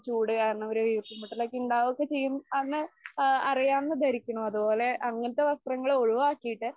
ചൂട് കാരണം ഒരു വീർപ്പ്മുട്ടലൊക്കെ ഉണ്ടാവുമൊക്കെ ചെയ്യും. അന്ന് ആ അറിയാമെന്ന് ധരിക്കുണു. അതുപോലെ അങ്ങനത്തെ വസ്ത്രങ്ങള് ഒഴുവാക്കിയിട്ട്